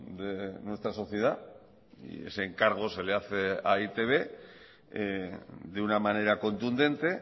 de nuestra sociedad y ese encargo se le hace a e i te be de una manera contundente